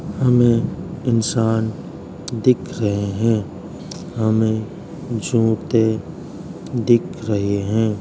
हमें इंसान दिख रहे हैं। हमें जूते दिख रहे हैं।